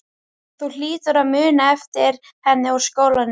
Þú hlýtur að muna eftir henni úr skólanum?